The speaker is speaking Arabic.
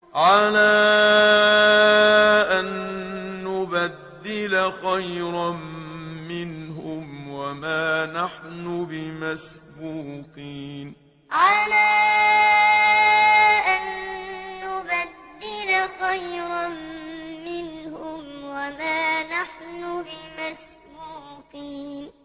عَلَىٰ أَن نُّبَدِّلَ خَيْرًا مِّنْهُمْ وَمَا نَحْنُ بِمَسْبُوقِينَ عَلَىٰ أَن نُّبَدِّلَ خَيْرًا مِّنْهُمْ وَمَا نَحْنُ بِمَسْبُوقِينَ